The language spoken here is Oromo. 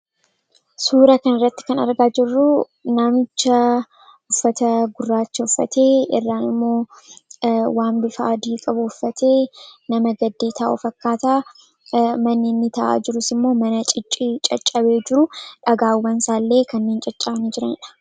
Suura kana irratti kan argaa jirru nama uffata gurraacha uffatee, irraan immoo waan bifa adii qabu uffatee nama gaddee taa'u fakkaata. Manni inni jala taa'aa jirus, mana caccabee jiru; dhagaawwan isaa illee kanneen caccabanii jiranidha.